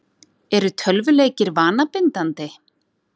Eru tölvuleikir vanabindandi?